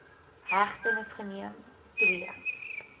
hegtenis geneem ii